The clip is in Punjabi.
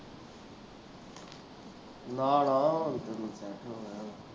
ਨਾ ਨਾ ਮੇਰੀ tension ਨਾ ਲੈ